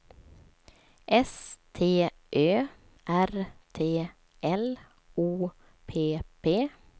S T Ö R T L O P P